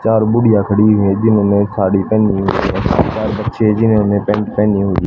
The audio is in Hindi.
चार बुढ़िया खड़ी हैं जिन्होंने साड़ी पहनी हुईं है तीन चार बच्चे जिन्होंने पेंट पहनी हुई --